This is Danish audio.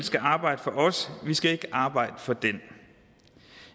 arbejde for os og vi skal ikke arbejde for den